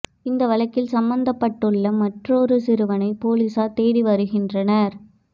இந்த வழக்கில் சம்பந்தப்பட்டுள்ள மற்றொரு சிறுவனை போலீஸார் தேடி வருகின்றனர்